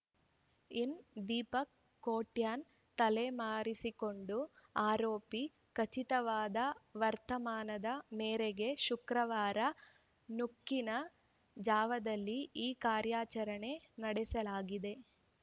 ಇನ್ನಾ ದೀಪಕ್ ಕೋಟ್ಯಾನ್ ತಲೆಮರೆಸಿಕೊಂಡ ಆರೋಪಿ ಖಚಿತವಾದ ವರ್ತಮಾನದ ಮೇರೆಗೆ ಶುಕ್ರವಾರ ನುಕಿನ ಜಾವದಲ್ಲಿ ಈ ಕಾರ್ಯಚರಣೆ ನಡೆಸಲಾಗಿದೆ